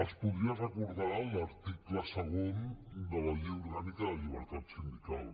els podria recordar l’article segon de la llei orgànica de llibertat sindical